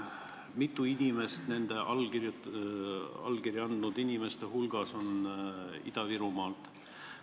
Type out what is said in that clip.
Mitu inimest nende allkirja andnud inimeste hulgas on Ida-Virumaalt?